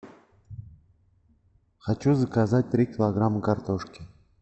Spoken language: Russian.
хочу заказать три килограмма картошки